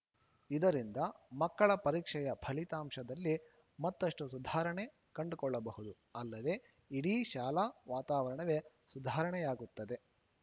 ಇದರಿಂದ ಮಕ್ಕಳ ಪರೀಕ್ಷೆಯ ಫಲಿತಾಂಶದಲ್ಲಿ ಮತ್ತಷ್ಟುಸುಧಾರಣೆ ಕಂಡುಕೊಳ್ಳಬಹುದುಅಲ್ಲದೆ ಇಡೀ ಶಾಲಾ ವಾತಾವರಣವೇ ಸುಧಾರಣೆಯಾಗುತ್ತದೆ